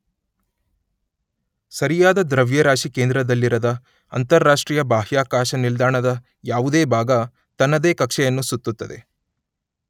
ಸರಿಯಾದ ದ್ರವ್ಯರಾಶಿ ಕೇಂದ್ರದಲ್ಲಿರದ ಅಂತರರಾಷ್ಟ್ರೀಯ ಬಾಹ್ಯಾಕಾಶ ನಿಲ್ದಾಣದ ಯಾವುದೇ ಭಾಗ ತನ್ನದೇ ಕಕ್ಷೆಯನ್ನು ಸುತ್ತುತ್ತದೆ.